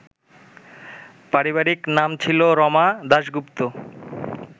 পারিবারিক নাম ছিল রমা দাশগুপ্ত